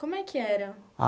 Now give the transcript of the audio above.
Como é que era?